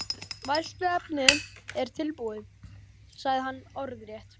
Fræðsluefnið er tilbúið, sagði hann orðrétt.